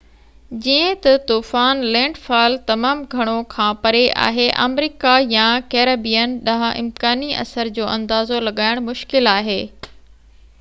جيئن ته طوفان لينڊ فال تمام گهڻو کان پري آهي آمريڪا يا ڪيريبين ڏانهن امڪاني اثر جو اندازو لڳائڻ مشڪل آهي